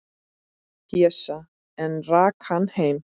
Pésa, en rak hann heim.